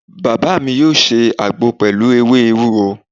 Baba mi yọ ṣe àgbo pẹlu ewé ewúro